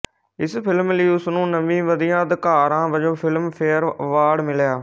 ਇਸ ਫਿਲਮ ਲਈ ਉਸਨੂੰ ਨਵੀਂ ਵਧੀਆ ਅਦਾਕਾਰਾ ਵਜੋਂ ਫਿਲਮ ਫੇਅਰ ਅਵਾਰਡ ਮਿਲਿਆ